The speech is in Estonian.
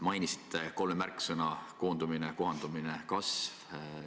Mainisite kolme märksõna: koondumine, kohandumine, kasv.